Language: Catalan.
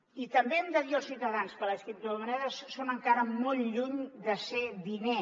i també hem de dir als ciutadans que les criptomonedes són encara molt lluny de ser diner